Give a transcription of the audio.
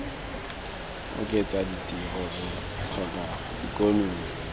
oketsa ditiro re tlhoka ikonomi